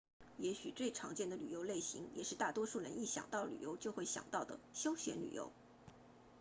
也许最常见的旅游类型也是大多数人一想到旅游就会想到的休闲旅游